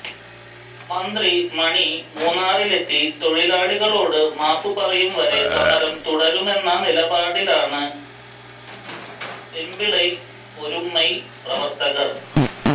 മന്ത്രി മണി മൂന്നാറിലെത്തി തൊഴിലാളികളോടു മാപ്പുപറയുംവരെ സമരം തുടരുമെന്ന നിലപാടിലാണ് പെമ്പിളൈ ഒരുമൈ പ്രവർത്തകർ